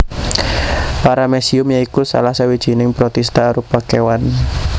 Paramecium ya iku salah sawijining protista arupa kéwan